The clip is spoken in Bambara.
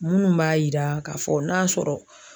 Minnu b'a yira k'a fɔ n'a sɔrɔ